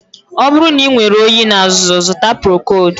Ọ bụrụ na inwere oyi na azụzụ, zụta Procold